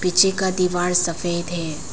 पीछे का दीवार सफेद है।